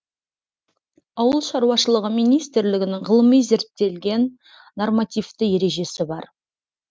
ауыл шаруашылығы министрлігінің ғылыми зерттелген нормативті ережесі бар